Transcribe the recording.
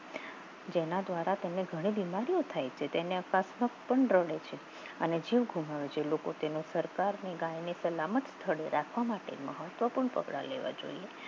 જેના દ્વારા ઘણી બીમારીઓ થાય છે જેને આપણા રડે છે અને જીવ ગુમાવે છે લોકો તેના સરકારને કારણે ગાય સલામત સ્થળે રાખવા માટે મહત્વપૂર્ણ પગલાં લેવા જોઈએ